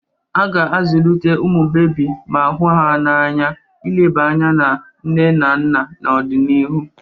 A ga-azụlite ụmụ bebi ma hụ ya n'anya, ileba anya na nne na nna n'ọdịnihu.